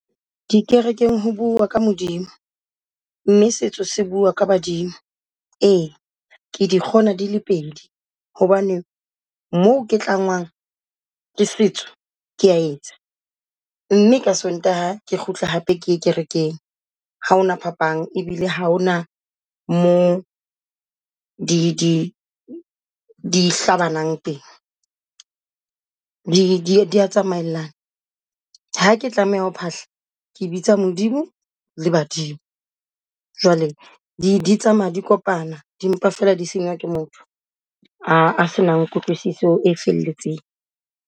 Dikerekeng ho bua ka Modimo, mme setso sa bua ka badimo. Ee ke di kgona di le pedi hobane moo ke tlwangwang ke setso kea etsa mme ka Sontaha ke kgutle hape ke kerekeng. Ha hona phapang, ebile ha hona moo di di hlabanang teng di dia tsamaellana. Ha ke tlameha ho phahla ke bitsa Modimo le Badimo. Jwale di tsamaya di kopana di mpa feela di senywa ke motho a a senang kutlwisiso e felletseng.